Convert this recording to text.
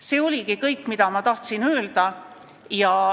See oligi kõik, mis ma tahtsin öelda.